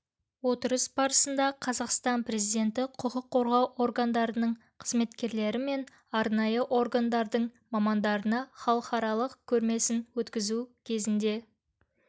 отырыс барысында қазақстан президенті құқық қорғау органдарының қызметкерлері мен арнайы органдардың мамандарына халықаралық көрмесін өткізу кезінде